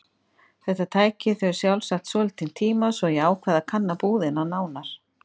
Þetta tæki þau sjálfsagt svolítinn tíma svo ég ákvað að kanna búðina nánar.